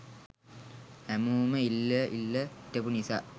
හැමෝම ඉල්ල ඉල්ල හිටපු නිසා